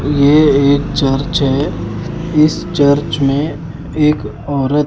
ये एक चार्च है इस चार्च में एक औरत --